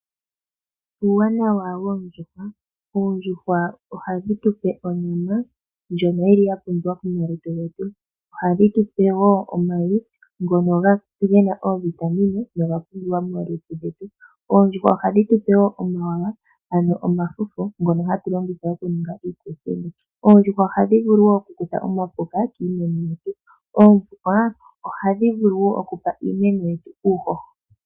Uuwanawa woondjuhwa Oondjuhwa ohadhi tu pe onyama ndjono yi li ya pumbiwa momalutu getu. Ohadhi tu pe wo omayi ngono ge na oovitamine noga pumbiwa momalutu getu. Oondjuhwa ohadhi tu pe wo omawawa, ano omafufu ngono hatu longitha okuninga iikuusinga. Oondjuhwa ohadhi vulu wo okukutha omapuka kiimeno yetu. Oondjuhwa ohadhi vulu wo okupa iimeno yetu uuhoho.